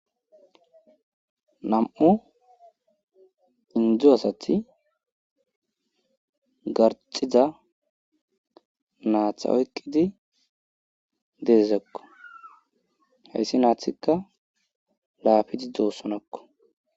nam7u indo asati garxiza naaxa oykkidi deezakko hayssi naathikka laafidi doossonakko